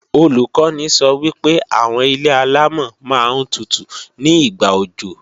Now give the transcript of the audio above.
Olùkọ́ni sọ wípé àwọn ilé-àlámọ̀ máa ń tutù ní ìgbà òjò